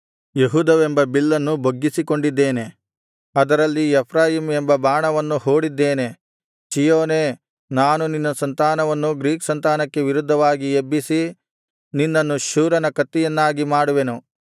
ಯೆಹೂದವೆಂಬ ಬಿಲ್ಲನ್ನು ಬೊಗ್ಗಿಸಿಕೊಂಡಿದ್ದೇನೆ ಅದರಲ್ಲಿ ಎಫ್ರಾಯೀಮ್ ಎಂಬ ಬಾಣವನ್ನು ಹೂಡಿದ್ದೇನೆ ಚೀಯೋನೇ ನಾನು ನಿನ್ನ ಸಂತಾನವನ್ನು ಗ್ರೀಕ್ ಸಂತಾನಕ್ಕೆ ವಿರುದ್ಧವಾಗಿ ಎಬ್ಬಿಸಿ ನಿನ್ನನ್ನು ಶೂರನ ಕತ್ತಿಯನ್ನಾಗಿ ಮಾಡುವೆನು